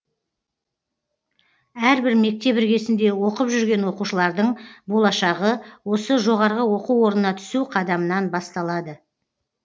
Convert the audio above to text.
әрбір мектеп іргесінде оқып жүрген оқушылардың болашағы осы жоғарғы оқу орнына түсу қадамынан басталады